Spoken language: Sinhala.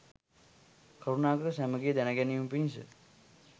කරුණාකර සැමගේ දැනගැනීම පිණිස